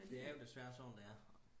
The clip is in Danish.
det er jo desværre sådan det er